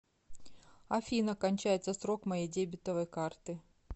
афина кончается срок моей дебетовой карты